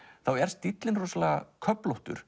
þá er stíllinn rosalega